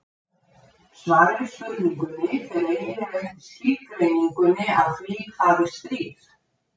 Svarið við spurningunni fer eiginlega eftir skilgreiningunni á því hvað er stríð.